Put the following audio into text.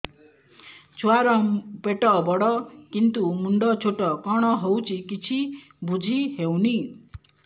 ଛୁଆର ପେଟବଡ଼ କିନ୍ତୁ ମୁଣ୍ଡ ଛୋଟ କଣ ହଉଚି କିଛି ଵୁଝିହୋଉନି